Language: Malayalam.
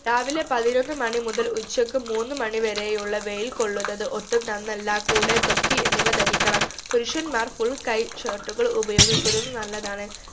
രാവിലെ പതിനൊന്ന് മണി മുതൽ ഉച്ചക് മൂന്ന് മണി വരെയുള്ള വൈയിൽ കൊള്ളുന്നത് ഒട്ടും നന്നല്ല കൂടെ തൊപ്പി എന്നിവ ധരിക്കണം പുരുഷന്മാർ full കൈ shirt കൾ ഉപയോഗിക്കുന്നത് നല്ലതാണ്